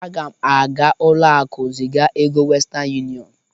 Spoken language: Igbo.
Aga m aga ụlọaku ziga ego westen yụniọn